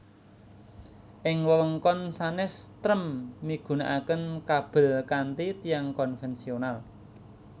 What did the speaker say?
Ing wewengkon sanés trem migunakaken kabel kanthi tiang konvensional